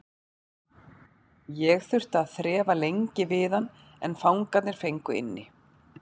Ég þurfti að þrefa lengi við hann en fangarnir fengu inni.